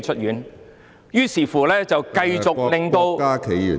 於是，就繼續令到......